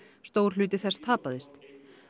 stór hluti þess tapaðist